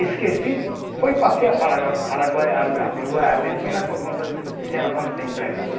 Esqueci, fui passear para Paraguai, ar Uruguai, Argentina, por conta, deixando conta de empregado, não